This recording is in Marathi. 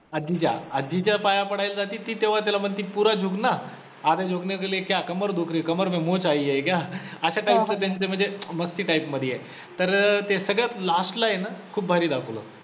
आजीच्या आजीच्या पाया पडायला जाती ती तेव्हा त्याला म्हणती पुरा झुक ना, आधा झुकने के लिये क्या कमर दुख रही कमर मे मौच आई हे क्या अश्या type चं त्यांच्यामधी मस्ती type मधी आहे, तर ते सगळ्यात last ला आहे ना खूप भारी दाखवलं.